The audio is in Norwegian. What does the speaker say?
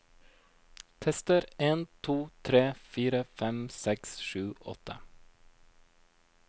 Tester en to tre fire fem seks sju åtte